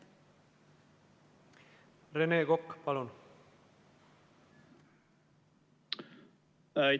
Rene Kokk, palun!